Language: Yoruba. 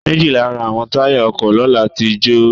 Méjì Lára àwọn táyà ọkọ̀ lọ́la tí jo ò.